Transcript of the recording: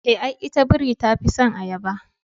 Eh, ai ita biri tafison ayaba